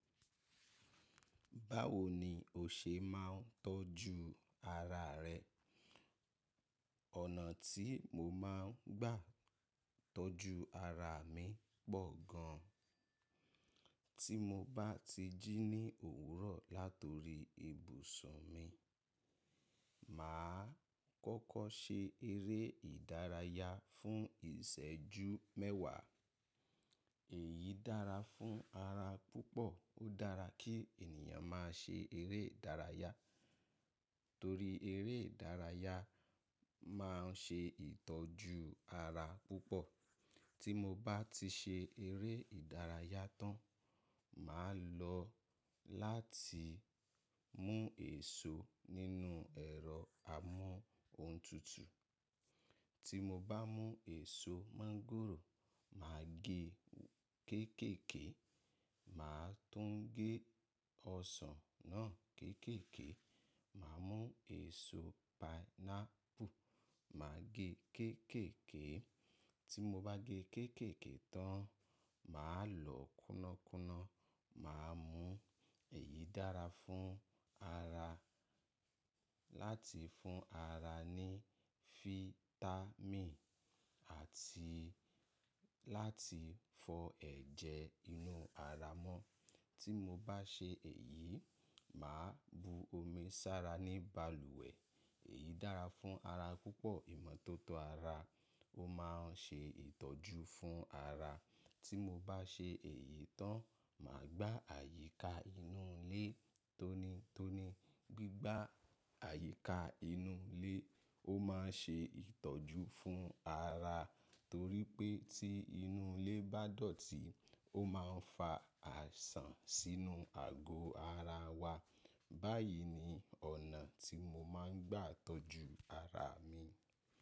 Báwo ni o ṣe máa ń tọ́jú ara rẹ? Ọ̀nà tí mo máa ń gbà tọ́jú ara mi pọ̀ gan. Tí mo bá ti jí ní òwúrọ̀ látori ibùsùn mi, màá kọ́kọ́ ṣe eré ìdárayá fún ìṣẹ́jú mẹ́wàá. Èyí dára fún ara púpọ̀. Ó dára kí ènìyàn máa ṣe eré ìdárayá torí eré ìdárayá máa ń ṣe ìtọ́jú ara púpọ̀. Tí mo bá ti ṣe eré ìdárayá tán, màá lọ láti mú èso nínú ẹ̀rọ amóhun tutù. Tí mo bá mú èso máńgòrò, màá gé kéékèèké, màá tún gé ọsàn náà kéékèèké. Màá mú èso painapu, màá gé kéékèèké. Tí mo bá gé kéékèèké tán, màá lọ kúnnákúnná, màá mú. Èyí dára fún ara láti fún ara ní fítámìn àti láti fọ ẹ̀jẹ̀ inú ara mọ́. Tí mo bá ṣe èyí, màá bu omi sára ní balùwẹ̀. Èyí dára fún ara púpọ̀. Ìmọ́tótó ara, ó máa ń ṣe ìtọ́jú fún ara. Tí mo bá ṣe èyí tán, màá gbá àyíká inú ilé tónítóní. Gbigba àyíká inú ilé, ó máa ń ṣe ìtọ́jú fún ara torí pé tí inú ilé bá dọ̀tí, ó máa ń fa àìsàn sínú àgọ́ ara wa. Báyìí ni ọ̀nà tí mo máa ń gbà tọ́jú ara mi.